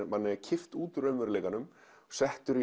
manni kippt úr raunveruleikanum settur